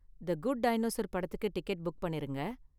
தி good dinosaur படத்துக்கு ticket book பண்ணிருங்க.